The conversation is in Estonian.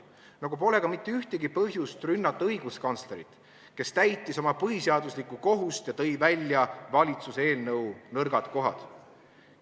Nagu pole mitte ühtegi põhjust rünnata õiguskantslerit, kes täitis oma põhiseaduslikku kohust ja tõi välja valitsuse eelnõu nõrgad kohad.